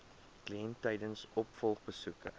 kliënt tydens opvolgbesoeke